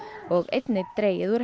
og einnig dregið úr